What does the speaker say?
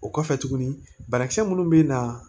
O kɔfɛ tuguni banakisɛ minnu bɛ na